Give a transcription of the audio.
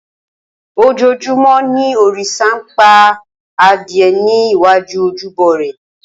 Ojoojúmọ́ ni òrìṣà ń pa adìẹ ní iwájú ojúbọ rẹ̀.